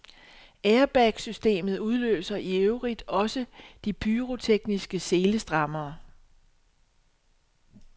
Airbagsystemet udløser i øvrigt også de pyrotekniske selestrammere.